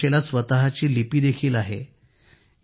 कुडूख भाषेला स्वतःची लिपी देखील आहे